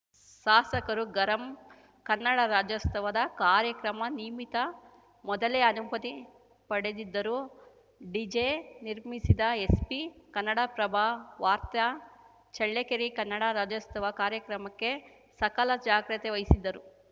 ಸಾಸಕರು ಗರಂ ಕನ್ನಡ ರಾಜ್ಯೋಸ್ತವ ಕಾರ್ಯಕ್ರಮ ನಿಮಿತ್ತ ಮೊದಲೇ ಅನುಮತಿ ಪಡೆದಿದ್ದರೂ ಡಿಜೆ ನಿರ್ಬಂಧಿಸಿದ ಎಸ್ಪಿ ಕನ್ನಡಪ್ರಭ ವಾರ್ತ ಚಳ್ಳಕೆರೆ ಕನ್ನಡ ರಾಜ್ಯೋಸ್ತವ ಕಾರ್ಯಕ್ರಮಕ್ಕೆ ಸಕಲ ಜಾಗ್ರತೆ ವಹಿಸಿದ್ದರೂ